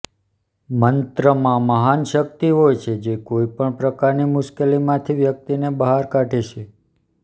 મંત્રમાં મહાન શક્તિ હોય છે જે કોઈ પણ પ્રકારની મુશ્કેલીમાંથી વ્યક્તિને બહાર કાઢે છે